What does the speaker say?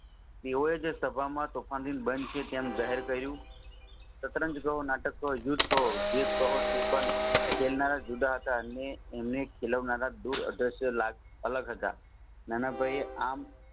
તેઓજ સભામાં તોફાનદીત બન છે તેમ જાહેર કર્યું શતરંજ જેવા નાટક કહો યુધ્ધ કહો જે કહો તે પણ ખેલનારા જુદા હતા ને એમને ખેલવનારા અલગ હતા નાનાભાઈ એ આમ